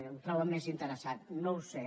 ho troben més interessant no ho sé